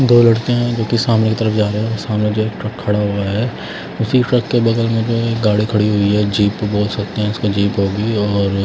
दो लड़के हैं जो कि सामने की तरफ जा रहे हैं और सामने जो है एक ट्रक खड़ा हुआ है उसी ट्रक के बगल में जो है गाड़ी खड़ी हुई है जीप बोल सकते हैं उसका जीप होगी और--